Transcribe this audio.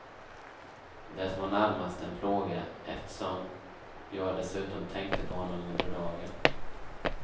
Det var närmast en plåga, eftersom jag dessutom tänkte på honom under dagen.